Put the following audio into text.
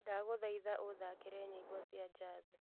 ndagũthaitha ũthaakĩre nyĩmbo cia jazz